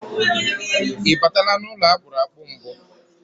Ị batala n'ụlọ akpụrụ akpụ mbụ?